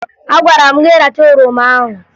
Agwara m gị rachaa oroma ahụ!